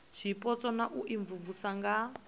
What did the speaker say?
zwipotso na u imvumvusa nga